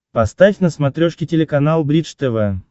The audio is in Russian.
поставь на смотрешке телеканал бридж тв